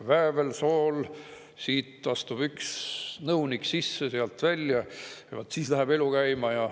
Väävel, sool, siit astub üks nõunik sisse, sealt välja, vot siis läheb elu käima.